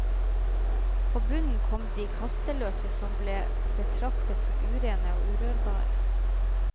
På bunnen kom de kasteløse, som ble betraktet som urene og urørbare.